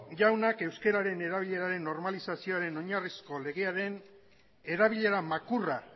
jaunak euskeraren erabileraren normalizazioaren oinarrizko legearen erabilera makurra